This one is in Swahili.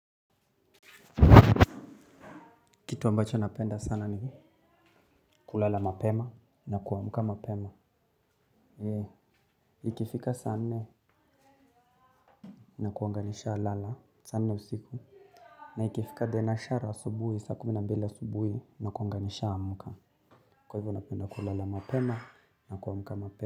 Kitu ambacho napenda sana ni kulala mapema na kuamka mapema. Yee, ikifika saa nne nakuanga nishalala, saa nneusiku. Na ikifika dhenashara asubuhi, saa kumi na mbili asubuhi nakuanga nishaamka. Kwa hivyo napenda kulala mapema na kuamuka mapema.